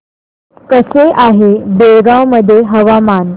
कसे आहे बेळगाव मध्ये हवामान